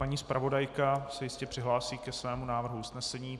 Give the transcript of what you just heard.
Paní zpravodajka se jistě přihlásí ke svému návrhu usnesení.